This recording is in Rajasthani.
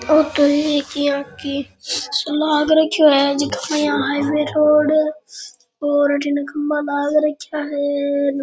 औ तो एक इया लग रखे है जीके मे यहाँ हाइवे रोड और अठिन खम्भा लग रखे है।